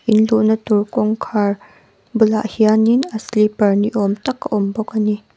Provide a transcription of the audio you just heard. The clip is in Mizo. in luhna tur kawngkhar bulah hianin a slipper ni awm tak a awm bawk a ni.